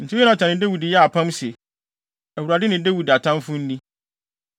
Enti Yonatan ne Dawid yɛɛ apam se, “ Awurade ne Dawid atamfo nni.”